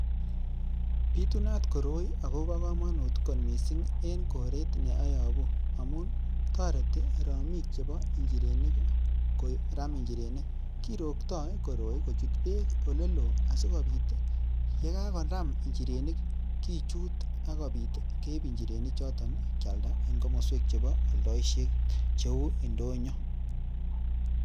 Bitunat koroi agobo komonut kot mising en koret ne ayobu, amun toreti romik chebo njirenik koram njirenik, kerokto koroi kochut beek ole loo asikobit ii, ye kagonam njirenik kichut ak kobit keib njirenik choto kyalda en komoswek chebo oldoishet cheu indonyo.